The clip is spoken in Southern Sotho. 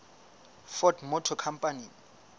ford motor company